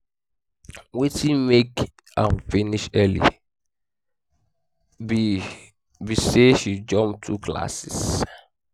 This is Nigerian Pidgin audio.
wetin make am finish early be be say she jump two classes